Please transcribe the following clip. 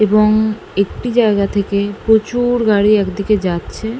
এবং একটি জায়গা থেকে প্রচুর গাড়ি একদিকে যাচ্ছে ।